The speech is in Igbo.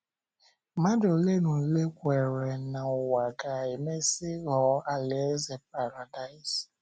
Mmadụ ole na ole kweere na ụwa ga - emesị ghọọ alaeze paradaịs?.